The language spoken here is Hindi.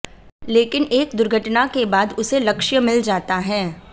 लेकिन एक दुर्घटना के बाद उसे लक्ष्य मिल जाता है